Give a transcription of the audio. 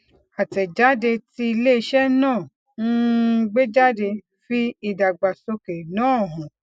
àtẹjáde tí iléiṣẹ náà um gbé jáde fi ìdàgbàsókè náà hàn